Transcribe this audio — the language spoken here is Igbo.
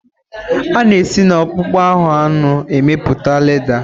A-na esi na akpụkpọ ahụ anụ emepụta lédà.